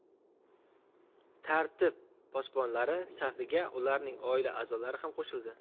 Tartib posbonlari safiga ularning oila a’zolari ham qo‘shildi.